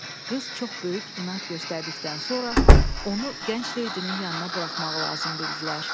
Qız çox böyük inad göstərdikdən sonra, onu gənc leydinin yanına buraxmağı lazım bildilər.